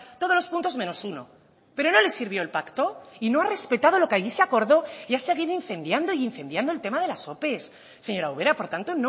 todos los puntos menos uno pero no le sirvió el pacto y no ha respetado lo que allí se acordó y ha seguido incendiando y incendiando el tema de las opes señora ubera por tanto